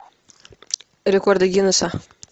рекорды гиннесса